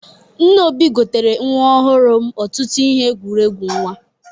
Nne Obi gotere nwa ọhụrụ m ọtụtụ ihe ekwuregwu nwa.